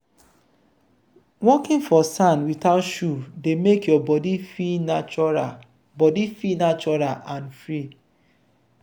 walking for sand without shoe dey make your body feel natural body feel natural and free.